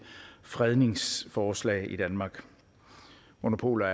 fredningsforslag i danmark monopoler